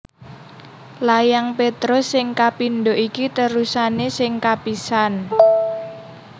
Layang Petrus sing kapindho iki terusané sing kapisan